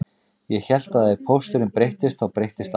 Ég hélt að ef pósturinn breyttist þá breyttist allt